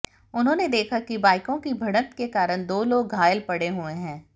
उन्होंने देखा कि बाइकों की भिड़ंत के कारण दो लोग घायल पड़े हुए हैं